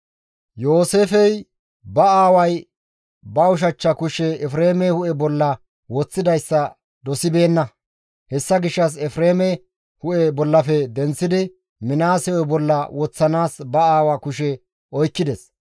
Yooseefey ba aaway ba ushachcha kushe Efreeme hu7e bolla woththidayssa dosibeenna. Hessa gishshas Efreeme hu7e bollafe denththidi Minaase hu7e bolla woththanaas ba aawa kushe oykkides.